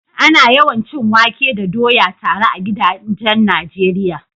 Ana yawan cin wake da doya tare a gidajen Najeriya.